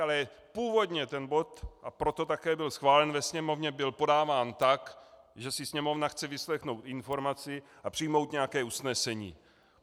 Ale původně ten bod, a proto také byl schválen ve Sněmovně, byl podáván tak, že si Sněmovna chce vyslechnout informaci a přijmout nějaké usnesení.